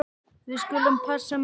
Við skulum passa mömmu.